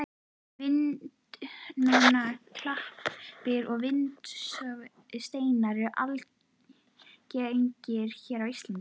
Vindnúnar klappir og vindsorfnir steinar eru algengir hér á landi.